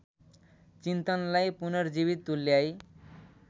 चिन्तनलाई पुनर्जीवित तुल्याई